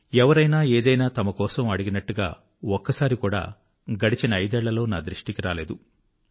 ఎవరైనా ఏదైనా తమ కోసం అడిగినట్టుగా ఒక్కసారి కూడా గడచిన ఐదేళ్ళలో నా దృష్టికి రాలేదు